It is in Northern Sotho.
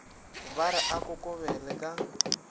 ba re a kokobele ka